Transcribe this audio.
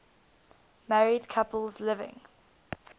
married couples living